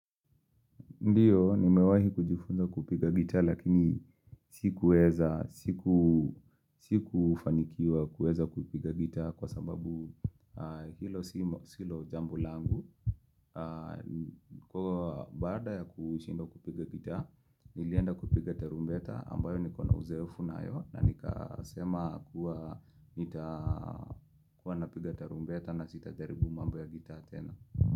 Ndiyo nimewahi kujifunza kupiga gita lakini sikuweza siku sikufanikiwa kuweza kupiga gita kwa sababu hilo silo jambo langu. Kwa baada ya kushindwa kupiga gita nilienda kupiga tarumbeta ambayo niko na uzoefu nayo na nikasema kuwa nita kuwa napiga tarumbeta na sitajaribu mambo ya gita tena.